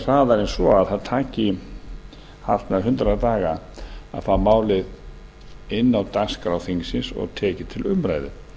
hraðar en svo að það taki allt að hundrað daga að fá málið inn á dagskrá þingsins og tekið til umræðu